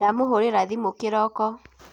ndamũhũrira thimũ kiroko